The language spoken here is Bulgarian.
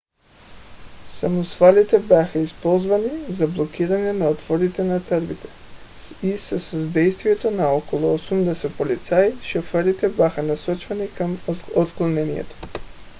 самосвалите бяха използвани за блокиране на отворите на тръбите и със съдействието на около 80 полицаи шофьорите бяха насочвани към отклонението